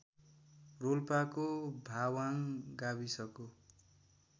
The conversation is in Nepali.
रोल्पाको भाबाङ गाविसको